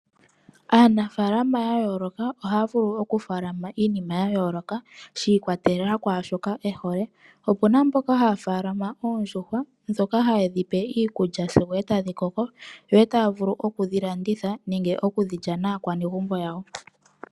Aanafaalama ya yooloka oha ya vulu oku faalama iinima ya yooloka, shiikwatelela kwaashoka ehole, opuna mboka ha ya faalama oondjuhwa, dhoka ha ye dhipe iikulya, sigo ee tadhi koko, yo ee ta ya vulu okudhi landitha, nenge oku dhi lya naakwanegumbo yawo.